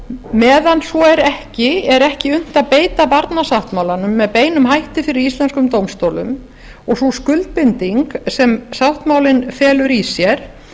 meðan svo er ekki er ekki unnt að beita barnasáttmálanum með beinum hætti fyrir íslenskum dómstólum og sú skuldbinding sem sáttmálinn felur i sér